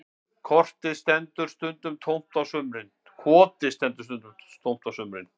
Kotið stendur stundum tómt á sumrin